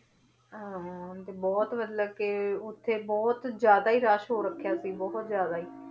ਹਾਂ ਤੇ ਬਹੁਤ ਮਤਲਬ ਕਿ ਉੱਥੇ ਬਹੁਤ ਜ਼ਿਆਦਾ ਹੀ ਰਸ਼ ਹੋ ਰੱਖਿਆ ਸੀ ਬਹੁਤ ਹੀ ਜ਼ਿਆਦਾ ਹੀ